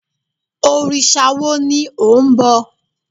Òrìṣà wo ni ò ń bọ?